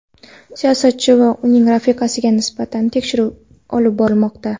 Siyosatchi va uning rafiqasiga nisbatan tekshiruv olib borilmoqda.